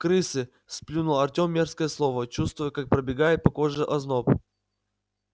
крысы сплюнул артем мерзкое слово чувствуя как пробегает по коже озноб